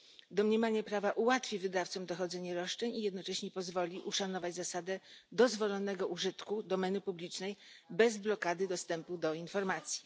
Domniemanie prawa ułatwi wydawcom dochodzenie roszczeń i jednocześnie pozwoli uszanować zasadę dozwolonego użytku domeny publicznej bez blokady dostępu do informacji.